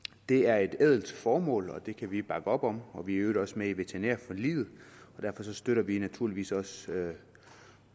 det er et ædelt formål og det kan vi bakke op om og vi er i øvrigt også med i veterinærforliget og derfor støtter vi naturligvis også